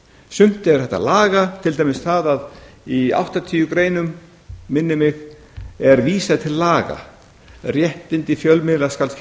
sumt er hægt að laga til dæmis það að í áttatíu greinum minnir mig er vísað til laga réttindi fjölmiðla skal tryggt